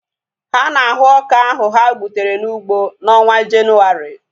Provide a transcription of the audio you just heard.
Ha na-ahu ọka ohu ha gbutere n'ụgbọ na onwa Jenuwari